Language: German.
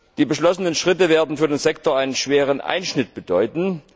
Die beschlossenen Schritte werden für den Sektor einen schweren Einschnitt bedeuten.